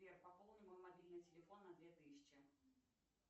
сбер пополни мой мобильный телефон на две тысячи